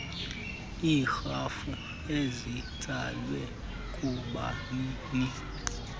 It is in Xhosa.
iirhafu ezitsalwe kubanini